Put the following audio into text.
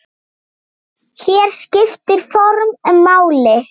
Hér skiptir form máli.